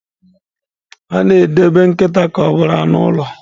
A na-edobe nkịta ka ọ bụrụ anụ ụlọ.